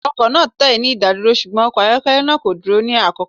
Awakọ naa tẹ ni idaduro, ṣugbọn ọkọ ayọkẹlẹ naa ko duro ni akoko.